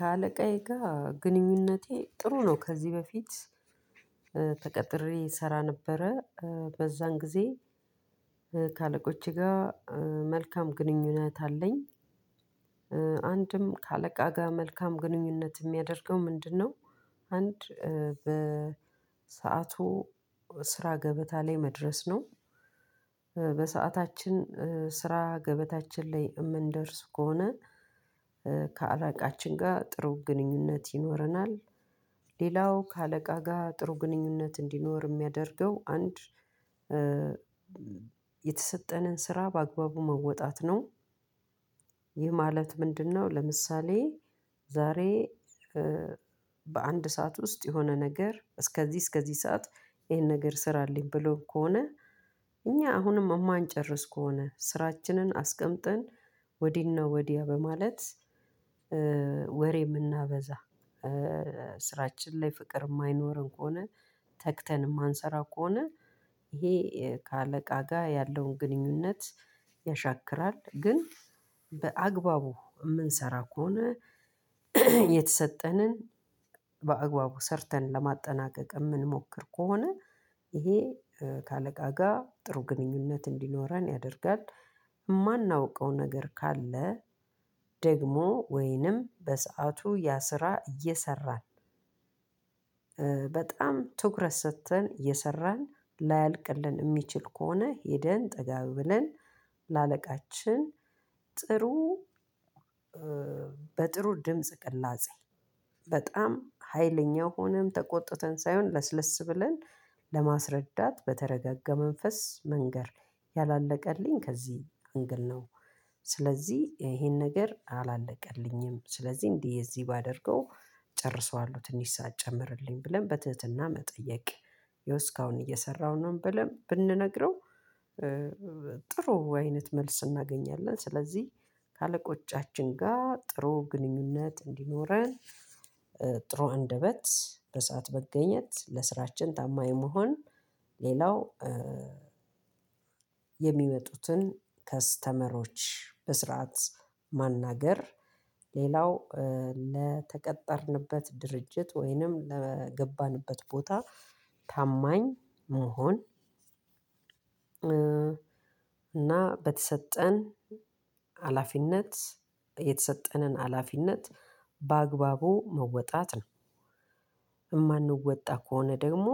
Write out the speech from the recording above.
ከአለቃዬ ጋር ግንኙነቴ ጥሩ ነው። ከዚህ በፊት ተቀጥሬ እሰራ ነበረ በዛን ጊዜ ከአለቆቼ ጋር መልካም ግንኙነት አለኝ። አንድም ከአለቃ ጋር መልካም ግንኙነት የሚያደርገው ምንድነው? አንድ በሰአቱ ስራ ገበታ ላይ መድረስ ነው። በሰአታችን ስራ ገበታችን ላይ የምንደርስ ከሆነ ከአላቃችን ጋር ጥሩ ግንኙነት ይኖረናል። ሌላው ከአለቃ ጋር ጥሩ ግንኙነት እንዲኖር የሚያደርገው አንድ የተሰጠንን ስራ በአግባቡ መወጣት ነው። ይህ ማለት ምንድነው? ለምሳሌ ዛሬ፤ በአንድ ሰዓት ውስጥ የሆነ ነገር እስከዚህ እስከዚህ ሰዓት ይሄን ነገር ስራልኝ ብሎ ከሆነ እኛ አሁንም እማንጨርስ ከሆነ ስራችንን አስቀምጠን ወዲህና ወዲያ በማለት የምናበዛ ስራችን ላይ ፍቅር የማይኖረን ከሆነ ተግተን የማንሰራው ከሆነ፤ ይሄ ከአለቃ ጋር ያለውን ግንኙነት ያሻክራል። ግን በአግባቡ የምንሰራ ከሆነ የተሰጠንን በአግባቡ ሰርተን ለማጠናቀቅ የምንሞክር ከሆነ ይሄ ከአለቃ ጋር ጥሩ ግንኙነት እንዲኖረን ያደርጋል። የማናውቀው ነገር ካለ ደግሞ ወይንም በሰአቱ ያ ስራ እየሰራን በጣም ትኩረት ሰጥተን እየሰራን ላያልቅልን የሚችል ከሆነ ሄደን ጠጋዬ ብለን ለአለቃችን ጥሩ በጥሩ ድምጽ ቅላጼ በጣም ሀይለኛ ሆነን ተቆጥተን ሳይሆን ለስለስ ብለን ለማስረዳት በተረጋጋ መንፈስ መናገር ያላለቀልኝ ከዚህ አንግል ነው። ስለዚህ ይሄን ነገር አላለቀልኝም። ስለዚህ እንዲህ የዚህ ባደርገው ጨርሰዋለሁ ትንሽ ሰዓት ጨምርልኝ ብለን በትህትና መጠየቅ ይሄው እስካሁን እየሰራሁ ነው ብለን ብንነግረው ጥሩ አይነት መልስ እናገኛለን። ስለዚህ ከአለቆቻችን ጋር ጥሩ ግንኙነት እንዲኖረን ጥሩ አንደበት፤ በሰአት በገኘት፤ ለስራችን ታማኝ መሆን፤ ሌላው የሚመጡትን ከስተመሮች በስርዓት ማናገር። ሌላው ለተቀጠርንበት ድርጅት ወይንም ለገባንበት ቦታ ታማኝ መሆን። እና በተሰጠን ሀላፊነት የተሰጠንን ሀላፊነት በአግባቡ መወጣት ነው። የማንወጣ ከሆነ ደግሞ